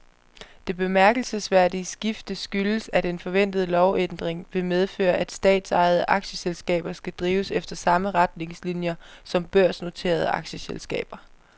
Det bemærkelsesværdige skifte skyldes, at en forventet lovændring vil medføre, at statsejede aktieselskaber skal drives efter samme retningslinier som børsnoterede aktieselskaber.